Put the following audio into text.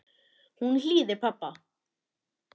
Hún hlýðir pabba.